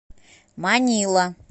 манила